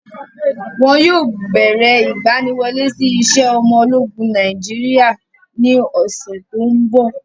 Wọn yóò bẹ̀rẹ ìgbaniwọlé sí iṣẹ́ ọmọ ológun Nàìjíríà ní ọ̀ṣẹ̀ tóńbọ̀.